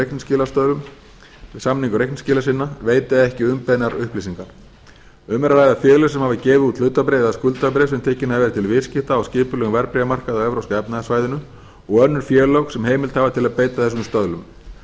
reikningsskilastöðlum við samningu reikningsskila sinna veita ekki umbeðnar upplýsingar um er að ræða félög sem hafa gefið út hlutabréf eða skuldabréf sem tekin hafa verið til viðskipta á skipulögðum verðbréfamarkaði á evrópska efnahagssvæðinu og önnur félög sem heimild til að beita þessum stöðlum